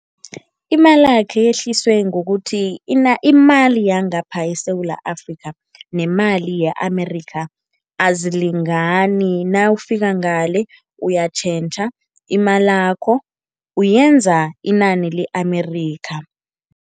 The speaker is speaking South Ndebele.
Imalakhe yehliswe ngokuthi imali yangapha eSewula Afrika nemali ye-Amerika azilingani. Nawufika ngale uyatjhentjha imalakho, uyenza inani le-Amerika.